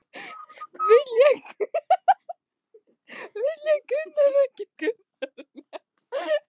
Vilja menn ekki greiðsluaðlögun?